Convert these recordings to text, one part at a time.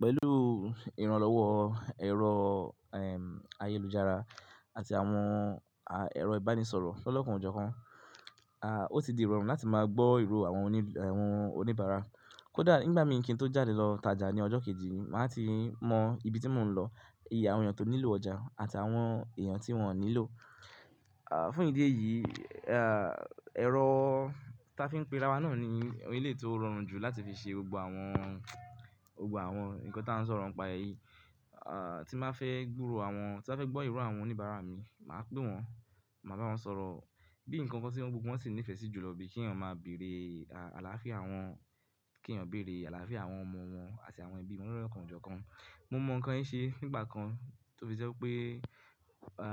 Pẹ̀lú ìrànlọ́wọ́ ẹ̀rọ ehn ayélujára àti àwọn ẹ̀rọ ìbánisọ̀rọ̀ lọ́kàn ọjọ́ kan, ah o ti di rọrùn láti máa gbọ́ ìró àwọn oníbàárà. Kódà nígbà mìí kí n tó jáde lọ tajà ní ọjọ́ kejì, màá ti mọ ibi tí mò ń lọ, iye àwọn èèyàn tó nílò ọjà àti àwọn èèyàn tí wọ́n ò nílò. Fún ìdí èyí, ẹ̀rọ táa fi ń pe rawa náà ni ohun eleyi tí ó rọrùn jù láti fi ṣe gbogbo àwọn ohun nkan táa ń sọ̀rọ̀ ń pa e èyí. Tí n ba fẹ́ gbòòrò àwọn-- tí n ba fẹ́ gbọ́ ìró àwọn oníbàárà mi, màá pè wọ́n, màá bá wọn sọ̀rọ̀ bí nǹkan kan tí gbogbo sì nífẹ̀ẹ́ sí jùlọ bí kí èèyàn máa bèrè àlàáfíà àwọn-- kí èèyàn bèrè àlàáfíà àwọn ọmọ wọn àti àwọn ẹbí wọn lo lọ́kàn ọjọ́ kan. Mo mọ ǹkan yìí ṣe nígbà kan to ṣẹ́ je pé a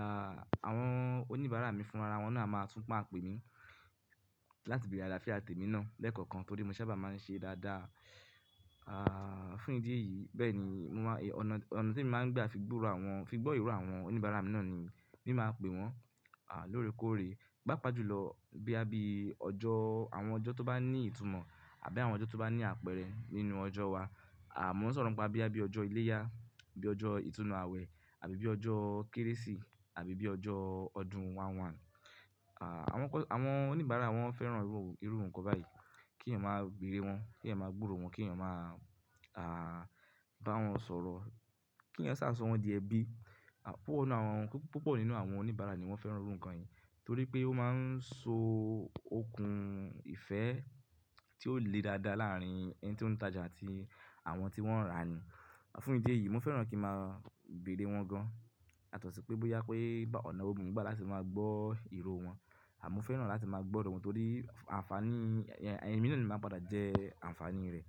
àwọn oníbàárà mi fúnrara wọn náà a máa tún máa pè mí láti bèrè àlàáfíà tèmi náà lẹ́ẹ̀kọ̀kan torí mo sábà máa ń ṣe dáadáa. Fún ìdí èyí, bẹ́ẹ̀ ni mo máa-- ọ̀nà tí e mi máa ń gbà fi gbòòrò àwọn-- fi gbọ́ ìró àwọn oníbàárà mi náà ni mi máa pè wọ́n lóore kóòre. Pápá jùlọ boya bíi àbí ọjọ́, àwọn ọjọ́ tó bá ní ìtumọ̀ àbí àwọn ọjọ́ tó bá ní àpẹẹrẹ nínú ọjọ́ wa. Mo ń sọ̀rọ̀ ń pa bíi àbí ọjọ́ Iléyá, bí ọjọ́ ìtúnnu àwẹ̀ àbí bí ọjọ́ Kérésì àbí bí ọjọ́ ọdún kìíní, oṣù kìíní. Àwọn oníbàárà wọ́n fẹ́ràn irú ǹkan báyìí, kí èèyàn máa bèrè wọ́n, kí èèyàn máa gbòòrò wọ́n, kí èèyàn máa a bá wọn sọ̀rọ̀, kí èèyàn sáà sọ wọ́n di ẹbí. Púpọ̀ nínú àwọn oníbàárà ni wọ́n fẹ́ràn irú ǹkan yìí torí pé ó máa ń so okùn ìfẹ́ tí ó le dáadáa láàrín ẹni tí ó ń tajà àti àwọn tí wọ́n ń rà ni. Fún ìdí èyí, mo fẹ́ràn kí màá bèrè wọ́n gan, yàtọ̀sí pé bóyá pé ọ̀nà wo mo ń gbà láti máa gbọ́ ìró wọn, àmọ́ mo fẹ́ràn láti máa gbọ́ ìró wọn torí àǹfàní-- ẹmi náà ni máa padà jẹ́ àǹfàní rẹ̀.